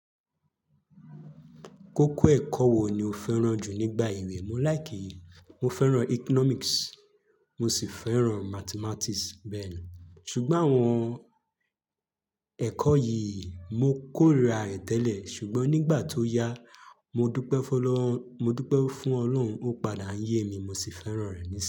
Kókó ẹ̀kọ́ wo ni o fẹ́ràn jù nígbà ìwẹ̀? Mọ́ like mo fẹ́ràn Economics, mo sì fẹ́ràn Mathematics bẹ́ẹ̀ ni. Ṣùgbọ́n àwọn ẹ̀kọ́ yìí mo kórira rẹ̀ tẹ́lẹ̀ ṣùgbọ́n nígbà tó yá, mo dupe f'Olorun mo dúpẹ́ fún Ọlọ́run, ó padà ń yé mi mo sì fẹ́ràn rẹ̀ níṣin yi.